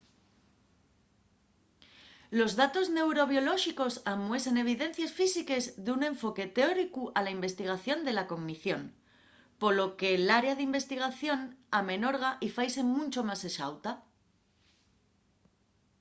los datos neurobiolóxicos amuesen evidencies físiques d’un enfoque teóricu a la investigación de la cognición. polo que l’área d’investigación amenorga y faise muncho más exauta